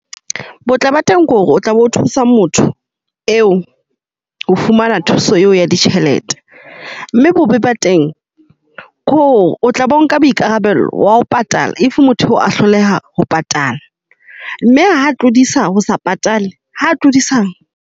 Botle ba teng ke hore o tla be o thusa motho eo ho fumana thuso eo ya ditjhelete. Mme bobe ba teng ke hore o tla bo nka boikarabelo wa ho patala. If motho a hloleha ho patala, mme ha tlodisa ho sa patale ha tlodisa.